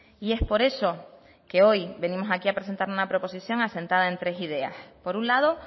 y es por eso que hoy venimos aquí a presentar una proposición asentada en tres ideas por un lado